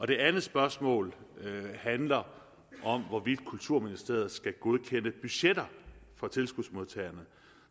det andet spørgsmål handler om hvorvidt kulturministeriet skal godkende budgetter for tilskudsmodtagerne